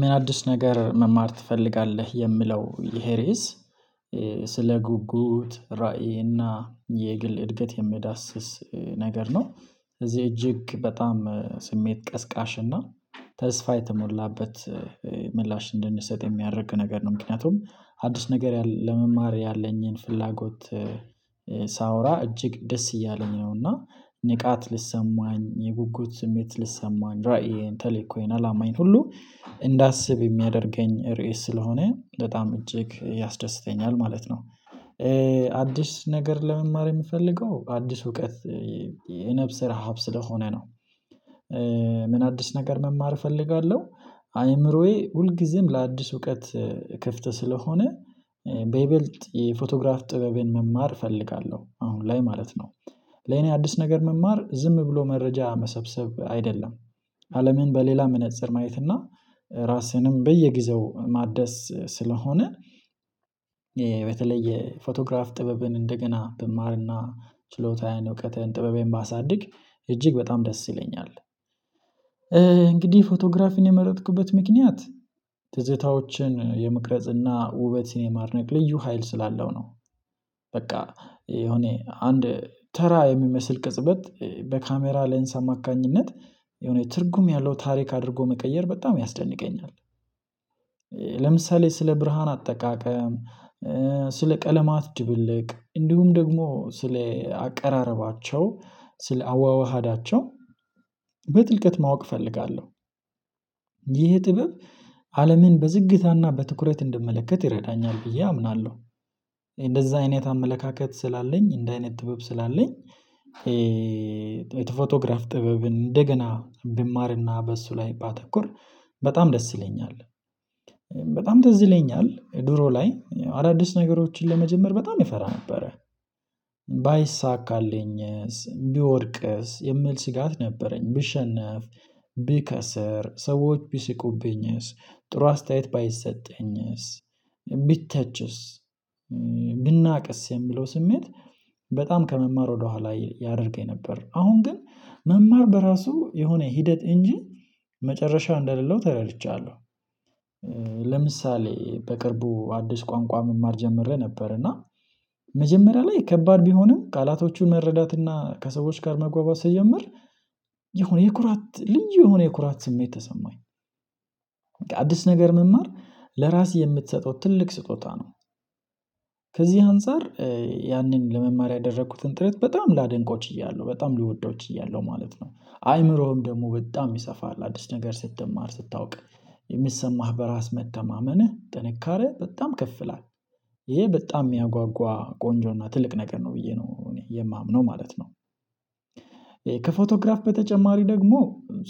ምን አዲስ ነገር መማር ትፈልጋለህ? የምለው ይሄ ርዕስ ስለ ጉጉት ራዕይ እና የግል እድገት የሚዳስስ ነገር ነው። እዚህ እጅግ በጣም ስሜት ቀስቃሽና ተስፋ የተሞላበት ምላሽ እንድንሰጥ የሚያደርግ ነገር ነው። ምክንያቱም አዲስ ነገር ለመማር ያለኝን ፍላጎት ሳወራ እጅግ ደስ እያለኝ ነው። እና ንቃት ልሰማኝ የጉጉት ስሜት ልሰማኝ ራእይን ቴልእኮይን አላማየን ሁሉ እንዳስብ የሚያደርገኝ ርዕስ ስለሆነ በጣም እጅግ ያስደስተኛል ማለት ነው። አዲስ ነገር ለመማር የምፈልገው አዲስ እውቀት የነፍስ ረሃብ ስለሆነ ነው። ምን አዲስ ነገር መማር እፈልጋለሁ? አይምሮዬ ሁል ጊዜም ለአዲስ እውቀት ክፍት ስለሆነ በይበልጥ የፎቶግራፍ ጥበቤን መማር እፈልጋለሁ አሁን ላይ ማለት ነው። ለኔ አዲስ ነገር መማር ዝም ብሎ መረጃ መሰብሰብ አይደለም። አለምን በሌላ መነፀር ማየት እና ራስህንም በየጊዜው ማደስ ስለሆነ በተለይ የፎቶግራፍ ጥበብን እንደገና ብማርና ችሎታዬን እውቀትን ጥበቤን ባሳድግ እጅግ በጣም ደስ ይለኛል። እንግዲህ ፎቶግራፊን የመረጥኩበት ምክንያት ትዝታዎችን የመቅረጽና ውበት የማድነቅ ልዩ ሀይል ስላለው ነው። በቃ እኔ አንድ ተራ የሚመስል ቅጽበት በካሜራ ሌንስ አማካኝነት የሆነ ትርጉም ያለው ታሪክ አድርጎ መቀየር በጣም ያስደንቀኛል። ለምሳሌ ስለ ብርሃን አጠቃቀም ስለ ቀለማት ድብልቅ እንዲሁም ደግሞ ስለ አቀራረባቸው ስለ አዋዋሃዳቸው በጥልቀት ማወቅ እፈልጋለሁ። ይህ ጥበብ አለምን በዝግታና በትኩረት እንደምመለከት ይረዳኛል ብዬ አምናለሁ። እንደዛ አይነት አመለካከት ስላለኝ እንደ አይነት ጥበብ ስላለኝ የፎቶግራፍ ጥበብን እንደገና ብማርና በሱ ላይ ባተኩር በጣም ደስ ይለኛል። በጣም ትዝ ይለኛል ድሮ ላይ አዳዲስ ነገሮችን ለመጀመር በጣም እፈራ ነበረ ባይሳካልኝስ ብወርቅስ የምል ስጋት ነበረኝ ብሸነፍ ብከሰር ሰዎች ቢስቁብኝስ ጥሩ አስተያየት ባይሰጠኝስ ቢተችስ ቢናቅስ የሚለው ስሜት በጣም ከመማር ወደኋላ ያደርገኝ ነበር። አሁን ግን መማር በራሱ የሆነ ሂደት እንጂ መጨረሻው እንደሌለው ተረድቻለሁ። ለምሳሌ በቅርቡ አዲስ ቋንቋ መማር ጀምሬ ነበር እና መጀመሪያ ላይ ከባድ ቢሆንም ቃላቶቹን መረዳት እና ከሰዎች ጋር መግባባት ስጀምር የሆነ የኩራት ልዩ የሆነ የኩራት ስሜት ተሰማኝ። አዲስ ነገር መማር ለራስ የምትሰጠው ትልቅ ስጦታ ነው። ከዚህ አንፃር ያንን ለመማር ያደረኩትን ጥረት በጣም ላደንቆ ችያለሁ በጣም ሊወደውችያለሁ ማለት ነው። አይምሮህም ደግሞ በጣም ይሰፋል አዲስ ነገር ስትማር ስታውቅ የሚሰማህ በራስ መተማመንህ ጥንካሬ በጣም ከፍላል ይሄ በጣም የሚያጓጓ ቆንጆና ትልቅ ነገር ነው ብዬ ነው እኔ የማምነው ማለት ነው። ከፎቶግራፍ በተጨማሪ ደግሞ